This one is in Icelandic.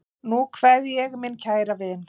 Nú kveð ég minn kæra vin.